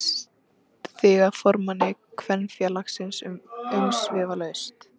Hún gerir þig að formanni Kvenfélagsins umsvifalaust.